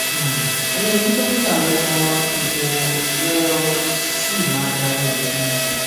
um ó yẹ kí dókítà rẹ mọ ipò rẹó sì máa darí rẹ um